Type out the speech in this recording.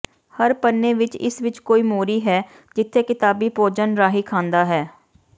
ਹਰ ਪੰਨੇ ਵਿਚ ਇਸ ਵਿਚ ਇਕ ਮੋਰੀ ਹੈ ਜਿੱਥੇ ਕਿਤਾਬੀ ਭੋਜਨ ਰਾਹੀਂ ਖਾਂਦਾ ਹੈ